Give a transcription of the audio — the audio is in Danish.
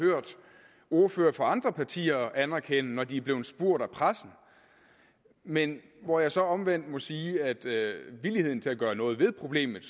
hørt ordførere fra andre partier anerkende når de er blevet spurgt af pressen men hvor jeg så omvendt må sige at villigheden til at gøre noget ved problemet